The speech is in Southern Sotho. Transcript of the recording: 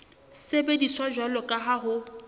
sebediswa jwalo ka ha ho